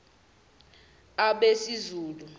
abesizulu